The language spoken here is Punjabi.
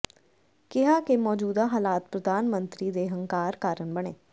ਕਿਹਾ ਕਿ ਮੌਜੂਦਾ ਹਾਲਾਤ ਪ੍ਰਧਾਨ ਮੰਤਰੀ ਦੇ ਹੰਕਾਰ ਕਾਰਨ ਬਣੇ